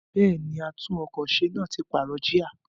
Bẹ́ẹ̀ni, àtún-ọkọ̀-se náà ti pààrọ̀ jíà.